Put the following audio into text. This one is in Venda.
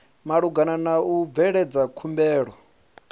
malugana na u bveledza khumbelo